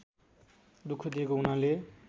दुख दिएको हुनाले